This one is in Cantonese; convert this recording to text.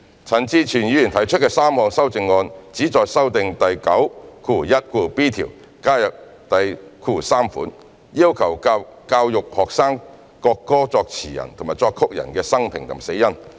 陳志全議員提出的3項修正案旨在修訂第 91b 條，加入第節，要求教育學生國歌作詞人及作曲人的生平及死因。